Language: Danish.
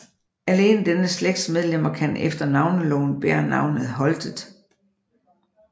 Alene denne slægts medlemmer kan efter Navneloven bære navnet Holtet